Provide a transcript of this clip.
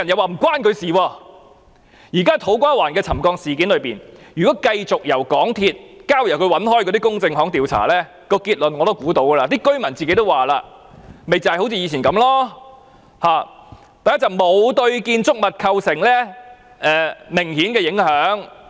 就現時土瓜灣站的沉降事件來說，如果繼續由港鐵公司交給它一向聘用的公證行調查，我也可以想得到結論是甚麼，不就是像以前一樣，第一是工程沒有對建築物構成明顯的影響。